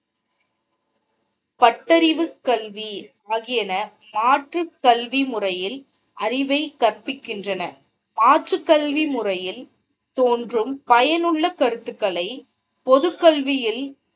பட்டறிவு கல்வி ஆகியன மாற்று கல்வி முறையில் அறிவை கற்பிக்கின்றன மாற்று கல்வி முறையில் தோன்றும் பயனுள்ள கருத்துக்களை பொதுக்கல்வியில்